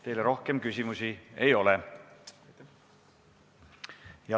Teile rohkem küsimusi ei ole.